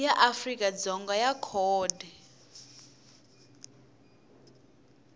ya afrika dzonga ya khodi